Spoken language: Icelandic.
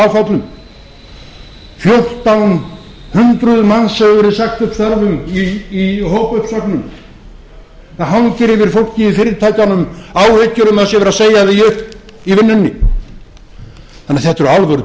áföllum fjórtán hundruð manns hefur verið sagt upp störfum í hópuppsögnum það hangir yfir fólki í fyrirtækjunum áhyggjur um að það sé verið að segja því upp í vinnunni þannig að þetta eru